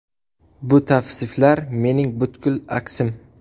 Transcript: Bu tavsiflar mening butkul aksim.